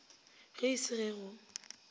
ge e se ge go